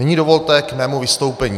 Nyní dovolte k mému vystoupení.